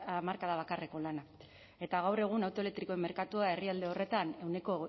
hamarkada bakarreko lana eta gaur egun auto elektrikoen merkatua herrialde horretan ehuneko